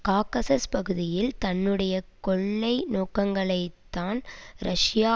Caucasus பகுதியில் தன்னுடைய கொள்ளை நோக்கங்களைத்தான் ரஷ்ய